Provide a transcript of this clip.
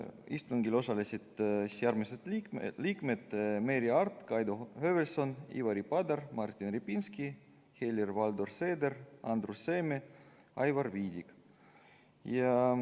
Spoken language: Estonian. Istungil osalesid järgmised liikmed: Merry Aart, Kaido Höövelson, Ivari Padar, Martin Repinski, Helir-Valdor Seeder, Andrus Seeme ja Aivar Viidik.